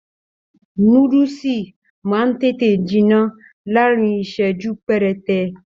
Núdúsí máa n tètè jinná láàrín iṣẹju perete.